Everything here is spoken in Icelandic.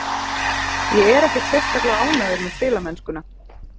Ég er ekkert sérstaklega ánægður með spilamennskuna.